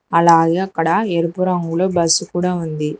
అలాగే అక్కడ ఎరుపు రంగులో బస్సు కూడా ఉంది.